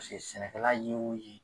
sɛnɛkɛla ye o ye.